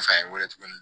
wele tuguni